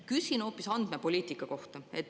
Küsin hoopis andmepoliitika kohta.